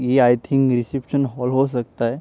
ये I think reception hall हो सकता है।